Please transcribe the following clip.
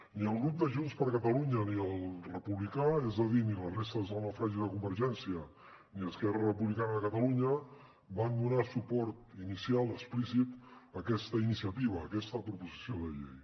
ni el grup de junts per catalunya ni el republicà és a dir ni les restes del naufragi de convergència ni esquerra republicana de catalunya van donar suport inicial explícit a aquesta iniciativa a aquesta proposició de llei